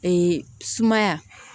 sumaya